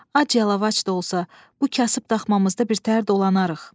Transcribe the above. Ac-yalavac da olsa, bu kasıb daxmamızda birtəhər dolanarıq.